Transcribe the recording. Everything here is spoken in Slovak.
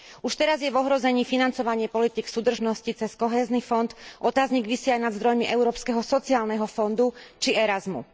Už teraz je v ohrození financovanie politík súdržnosti cez Kohézny fond, otáznik visí aj nad zdrojmi Európskeho sociálneho fondu či programu Erasmus.